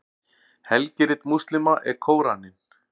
helgirit múslíma er kóraninn